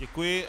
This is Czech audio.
Děkuji.